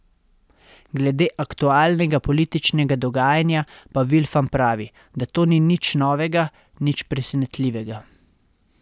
Glede aktualnega političnega dogajanja pa Vilfan pravi, da to ni nič novega, nič presenetljivega.